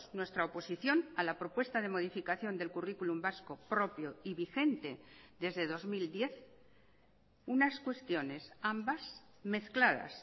nuestra oposición a la propuesta de modificación del curriculum vasco propio y vigente desde dos mil diez unas cuestiones ambas mezcladas